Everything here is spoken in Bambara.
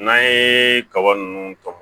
N'an ye kaba ninnu tɔmɔ